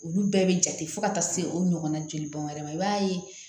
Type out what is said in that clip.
Olu bɛɛ bɛ jate fo ka taa se o ɲɔgɔnna jolibɔn wɛrɛ ma i b'a ye